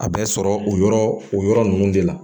A bɛ sɔrɔ o yɔrɔ o yɔrɔ ninnu de la